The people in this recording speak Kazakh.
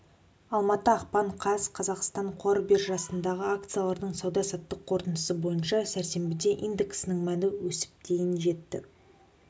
алматы ақпан қаз қазақстан қор биржасындағы акциялардың сауда-саттық қорытындысы бойынша сәрсенбіде индексінің мәні өсіп дейін жетті